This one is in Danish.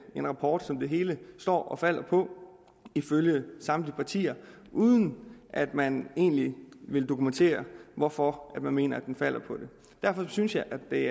en rapport som det hele står og falder på ifølge samtlige partier uden at man egentlig vil dokumentere hvorfor man mener den falder på det derfor synes jeg at det